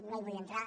no hi vull entrar